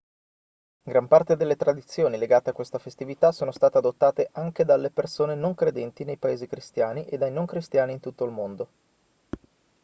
gran parte delle tradizioni legate a questa festività sono state adottate anche dalle persone non credenti nei paesi cristiani e dai non cristiani di tutto il mondo